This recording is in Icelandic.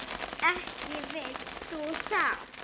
Ekki vilt þú það?